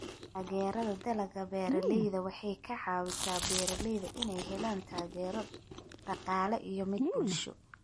Taageerada Dalagga Beeralayda waxay ka caawisaa beeralayda inay helaan taageero dhaqaale iyo mid bulsho.